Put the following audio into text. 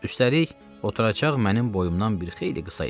Üstəlik, oturacaq mənim boyumdan bir xeyli qısa idi.